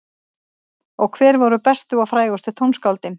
Og hver voru bestu og frægustu tónskáldin?